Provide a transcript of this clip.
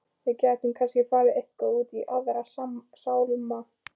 Við gætum kannski farið eitthvað út í Aðra sálma.